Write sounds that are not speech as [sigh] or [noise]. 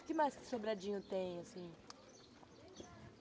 O que mais que Sobradinho tem? [unintelligible]